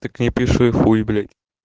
так пиши хуй блять